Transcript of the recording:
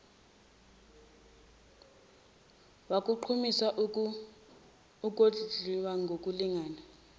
wakugqamisa ukondliwa ngokulingana